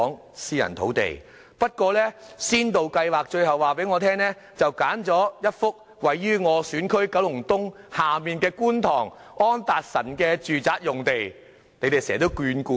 可是，港人首次置業先導計劃最後卻選址位於我的選區九龍東下方的觀塘安達臣道住宅用地。